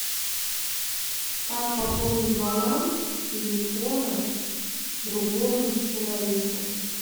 как пополнить баланс телефона другому человеку